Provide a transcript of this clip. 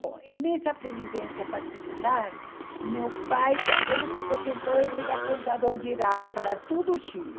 Bom, e nessa previdência particular, meu pai, quando ele se aposentou, ele era contador geral para todo o Chile.